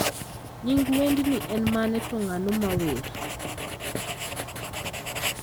Nying wendni en mane to ng'ano ma wer?